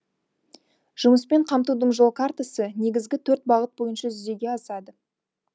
жұмыспен қамтудың жол картасы негізгі төрт бағыт бойынша жүзеге асады